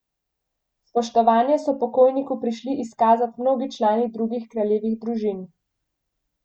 Spoštovanje so pokojniku prišli izkazat mnogi člani drugih kraljevih družin.